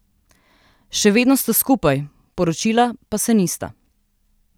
Še vedno sta skupaj, poročila pa se nista.